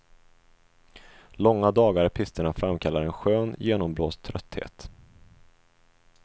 Långa dagar i pisterna framkallar en skön, genomblåst trötthet.